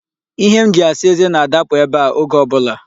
Ihe m ji asa eze na-adapụ ebe a oge ọ bụla.